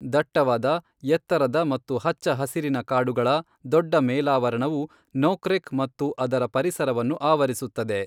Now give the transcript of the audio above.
ದಟ್ಟವಾದ, ಎತ್ತರದ ಮತ್ತು ಹಚ್ಚ ಹಸಿರಿನ ಕಾಡುಗಳ ದೊಡ್ಡ ಮೇಲಾವರಣವು ನೋಕ್ರೆಕ್ ಮತ್ತು ಅದರ ಪರಿಸರವನ್ನು ಆವರಿಸುತ್ತದೆ.